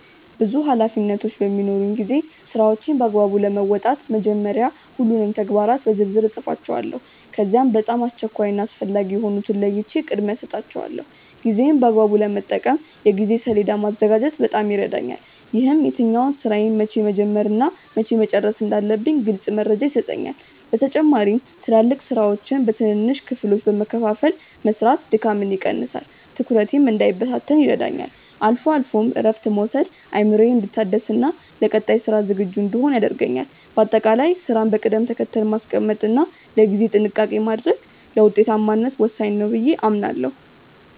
ብዙ ኃላፊነቶች በሚኖሩኝ ጊዜ ስራዎቼን በአግባቡ ለመወጣት መጀመሪያ ሁሉንም ተግባራት በዝርዝር እጽፋቸዋለሁ። ከዚያም በጣም አስቸኳይ እና አስፈላጊ የሆኑትን ለይቼ ቅድሚያ እሰጣቸዋለሁ። ጊዜዬን በአግባቡ ለመጠቀም የጊዜ ሰሌዳ ወይም ማዘጋጀት በጣም ይረዳኛል። ይህም የትኛውን ስራ መቼ መጀመር እና መቼ መጨረስ እንዳለብኝ ግልጽ መረጃ ይሰጠኛል። በተጨማሪም ትላልቅ ስራዎችን በትንንሽ ክፍሎች በመከፋፈል መስራት ድካምን ይቀንሳል፤ ትኩረቴም እንዳይበታተን ይረዳኛል። አልፎ አልፎም እረፍት መውሰድ አእምሮዬ እንዲታደስና ለቀጣይ ስራ ዝግጁ እንድሆን ያደርገኛል። በአጠቃላይ ስራን በቅደም ተከተል ማስቀመጥ እና ለጊዜ ጥንቃቄ ማድረግ ለውጤታማነት ወሳኝ ነው ብዬ አምናለሁ።